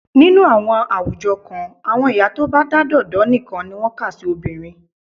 Nínú àwọn àwùjọ kan, àwọn ìyá tó bá dádọ̀dọ́ nìkan ni wọ́n kà sí obìnrin.